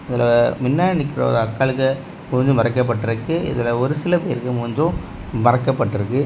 இதுல முன்னாடி நிக்கிற ஒரு அக்காளுக்கு மூஞ்சு மறைக்கப்பட்டிருக்கு இதுல ஒரு சில பேருக்கும் மூஞ்சும் மறக்கப்பட்டிருக்கு.